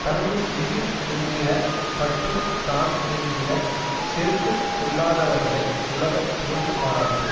தனது உயிர் என்கிற பற்றும் தான் என்கிற செருக்கும் கொள்ளாதவர்களை உலகம் புகழ்ந்து பாராட்டும்